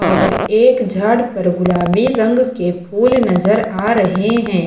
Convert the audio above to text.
और एक झाड़ पर गुलाबी रंग के फूल नजर आ रहे हैं।